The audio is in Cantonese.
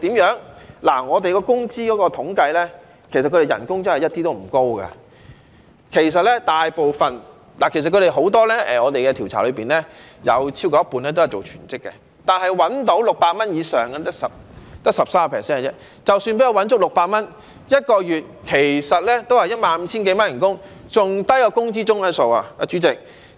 根據我們的工資統計，其實他們的工資真的一點也不高，在我們的調查中有超過一半人都是做全職的，但賺取600元以上的只有 13%， 即使能夠賺取足600元 ，1 個月其實亦只有 15,000 多元工資，比工資中位數還要低，主席。